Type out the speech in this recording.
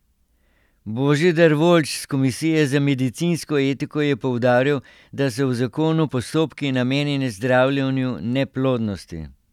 Božidar Voljč s komisije za medicinsko etiko je poudaril, da so v zakonu postopki, namenjeni zdravljenju neplodnosti.